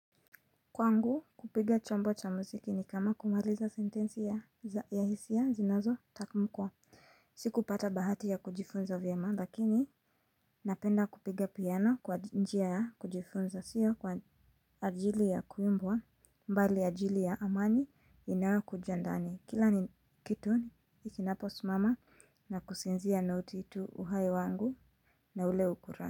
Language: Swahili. Kwangu kupiga chombo cha muziki ni kama kumaliza sentensi ya hisia zinazotamkwa. Sikupata bahati ya kujifunza vyema, lakini napenda kupiga piano kwa njia ya kujifunza. Sio kwa ajili ya kuimbwa. Bali ajili ya amani inayokuja ndani. Kila ni kitu kinaposimama na kusinzia noti tu uhai wangu na ule ukurati.